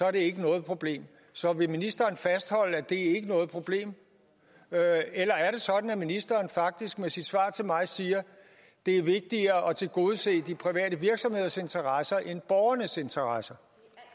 er det ikke noget problem så vil ministeren fastholde at det ikke er noget problem eller er det sådan at ministeren faktisk med sit svar til mig siger at det er vigtigere at tilgodese de private virksomheders interesser end borgernes interesser